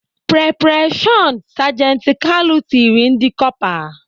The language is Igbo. "Pre pre shọn! " sajenti Kalu tirile ndị Kọpa.